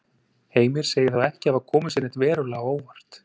Heimir sagði þá ekki hafa komið sér neitt verulega á óvart.